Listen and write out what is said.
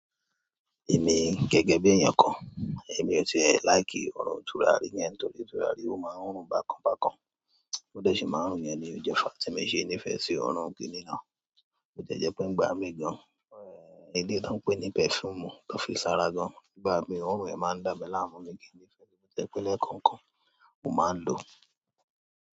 Èmi gẹ́gẹ́ bí ẹyan kan, èmi ò ti e láìki òòrùn tùràrí yẹn torí tùràrí ó máa ń rùn bákan bákan. Bi o de ṣe máa ń rùn yẹn ni ó jẹ́ fáà tì mi o ṣe ní ìfẹ́ sí òòrùn kìíní náà. Boti e jẹ́ pé ń gbá mi gan. Ẹ̀ẹ́, ilé tí wọ́n ń pè ní perfume tó fi ṣara gan. Ìgbà mi òòrùn rẹ̀ máa ń dàmi láàmú mi kì í nífẹ̀ẹ́. Mo jẹ́ pé lẹ́ẹ̀kan kan, mo máa ń lò ó.